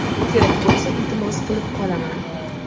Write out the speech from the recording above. kerak bo‘lsa iltimos qilib qolaman.